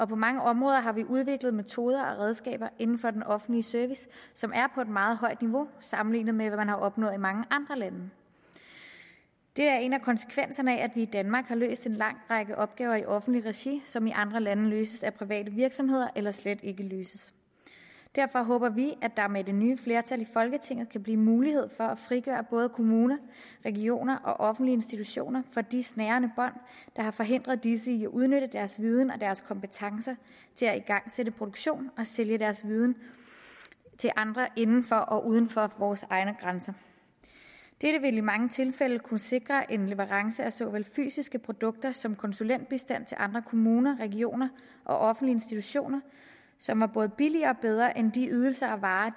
på mange områder udviklet metoder og redskaber inden for den offentlige service som er på et meget højt niveau sammenlignet med i mange andre lande det er en af konsekvenserne af at vi i danmark har løst en lang række opgaver i offentligt regi som i andre lande løses af private virksomheder eller slet ikke løses derfor håber vi at der med det nye flertal i folketinget kan blive mulighed for at frigøre kommuner regioner og offentlige institutioner for de snærende bånd der har forhindret disse i at udnytte deres viden og deres kompetencer til at igangsætte produktion og sælge deres viden til andre inden for og uden for vores egne grænser dette vil i mange tilfælde kunne sikre en leverance af såvel fysiske produkter som konsulentbistand til andre kommuner regioner og offentlige institutioner som er både billigere og bedre end de ydelser og varer